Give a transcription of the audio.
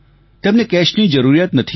તેમને કેશની જરૂરિયાત નથી